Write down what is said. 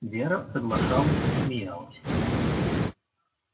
вера соглашалась смеялась